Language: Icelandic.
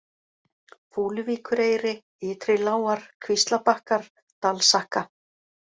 Fúluvíkureyri, Ytri-Lágar, Kvíslabakkar, Dalsakka